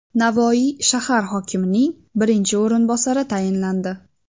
Navoiy shahar hokimining birinchi o‘rinbosari tayinlandi.